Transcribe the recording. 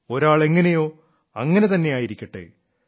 ഒരാൾ എങ്ങനെയോ അങ്ങനെ തന്നെയായിരിക്കട്ടെ